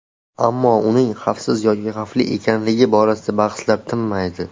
Ammo uning xavfsiz yoki xavfli ekanligi borasida bahslar tinmaydi.